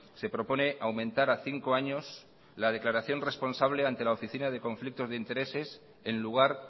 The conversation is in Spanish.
se propone aumentar a cinco años la declaración responsable ante la oficina de conflicto de intereses en lugar